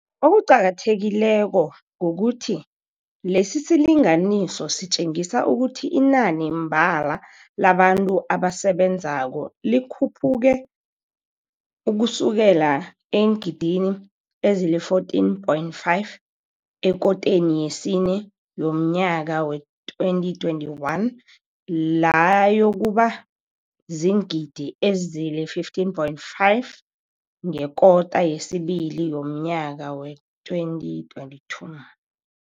Okuqakathekileko kukuthi lesisilinganiso sitjengisa ukuthi inani mbala labantu abasebenzako likhuphuke ukusukela eengidini ezili-14.5 ekoteni yesine yomNyaka wee-2021, layokuba ziingidi ezili-15.5 ngekota yesibili yomNyaka wee-2022.